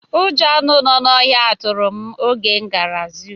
Ụjọ nọ anụ ọhịa tụrụ oge m gara zụ